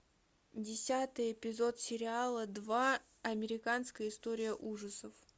десятый эпизод сериала два американская история ужасов